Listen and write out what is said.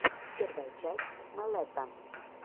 первая часть мэлэта